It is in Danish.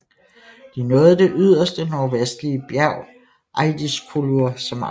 De nåede det yderste nordvestlige bjerg Eiðiskollur som aftalt